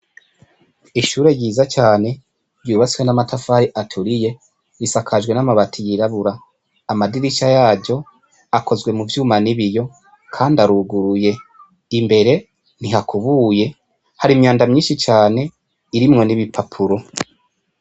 Ishure yiza cane yubatswe n'amatafari aturiye risakajwe n'amabati yirabura amadirisha yajo akozwe mu vyuma n'ibiyo, kandi aruguruye imbere ntihakubuye hari imyanda myinshi cane irimwo n'ibipapuro.